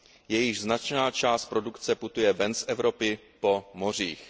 jejichž značná část produkce putuje ven z Evropy po mořích.